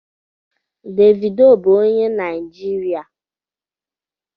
Davido bu onye Naijirịa